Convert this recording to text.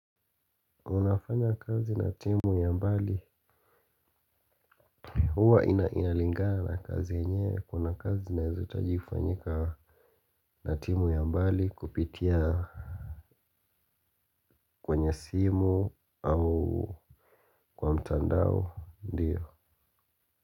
Unafanya kazi na timu ya mbali. Huwa inalingana kazi enye kuna kazi naezataji kufanyika. Na timu ya mbali kupitia kwenye simu au kwa mtandao ndiyo.